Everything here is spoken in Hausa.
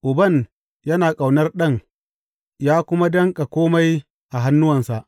Uban yana ƙaunar Ɗan ya kuma danƙa kome a hannuwansa.